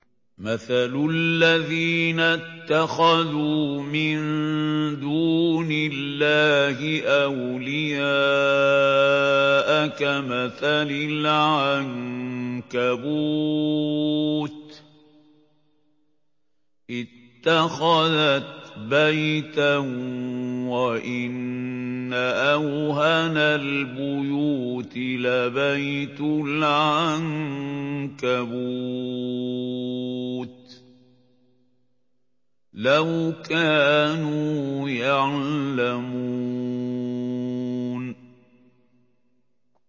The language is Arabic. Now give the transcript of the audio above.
مَثَلُ الَّذِينَ اتَّخَذُوا مِن دُونِ اللَّهِ أَوْلِيَاءَ كَمَثَلِ الْعَنكَبُوتِ اتَّخَذَتْ بَيْتًا ۖ وَإِنَّ أَوْهَنَ الْبُيُوتِ لَبَيْتُ الْعَنكَبُوتِ ۖ لَوْ كَانُوا يَعْلَمُونَ